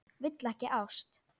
Vill ekki ást.